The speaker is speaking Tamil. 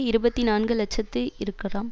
இருபத்தி நான்கு இலட்சத்தி இருக்கலாம்